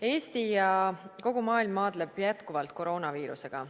Eesti ja kogu maailm maadleb jätkuvalt koroonaviirusega.